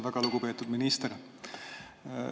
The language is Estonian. Väga lugupeetud minister!